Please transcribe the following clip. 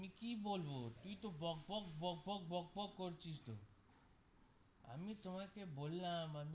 আমি কি বলবো তুই তো বক বক বক বক বক করছিস তো আমি তোমাকে বললাম.